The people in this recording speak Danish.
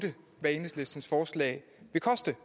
hvad enhedslistens forslag vil koste